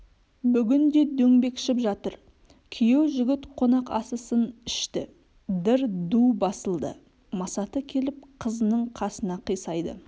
бүгін де дөңбекшіп жатыр күйеу жігіт қонақасысын ішті дыр ду басылды масаты келіп қызының қасына қисайды